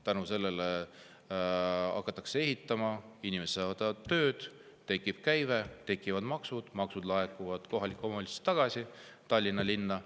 Tänu sellele hakatakse ehitama, inimesed saavad tööd, tekib käive, makse ja maksud laekuvad kohalikule omavalitsusele, Tallinna linnale.